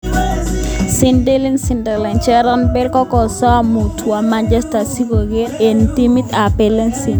Zinedine Zidane: Gareth Bale kokosom mutkowo Manchester si koureren eng timit ne pelisie.